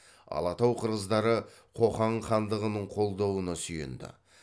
алатау қырғыздары қоқан хандығының қолдауына сүйенді